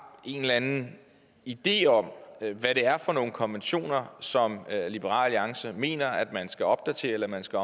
en eller anden idé om hvad det er for nogen konventioner som liberal alliance mener man skal opdatere eller man skal